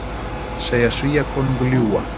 Segja Svíakonung ljúga